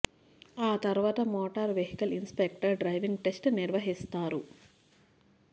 ఆ తర్వాత motor vehicle inspector driving test నిర్వహిస్తారు